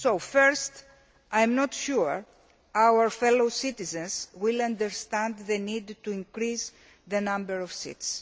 First, I am not sure our fellow citizens will understand the need to increase the number of seats.